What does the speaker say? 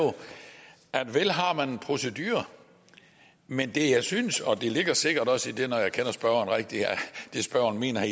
at vel har man en procedure men det jeg synes og det ligger sikkert også i det spørgeren mener